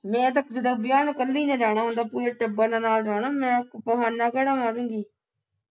ਮੈਂ ਤੱਕ ਜਿੱਦਾਂ ਵਿਆਹ ਨੂੰ ਕੱਲੀ ਨੇ ਜਾਣਾ ਉਦਾਂ ਪੂਰੇ ਟੱਬਰ ਨੇ ਨਾਲ ਜਾਣਾ ਮੈਂ ਬਹਾਨਾ ਕਿਹੜਾ ਮਾਰੂੰਗੀ